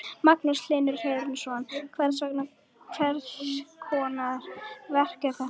Magnús Hlynur Hreiðarsson: Hvers konar verk er þetta?